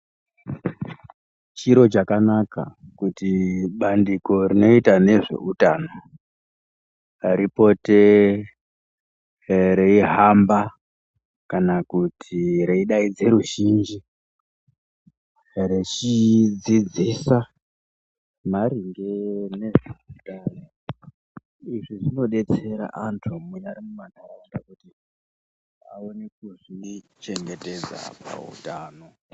Chiro chakanaka kuti bandiko rinoita nezveutano ripote reihamba kana kuti reidaidze ruzhinji rechidzidzisa maringe ngezveutano izvi zvinodetsera antu munyari mumanharaunda kuti aone kuzvichengetedza pautano.